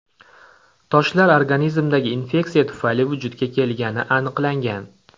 Toshlar organizmdagi infeksiya tufayli vujudga kelgani aniqlangan.